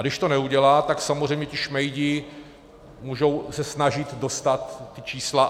A když to neudělá, tak samozřejmě ti šmejdi se můžou snažit dostat ta čísla.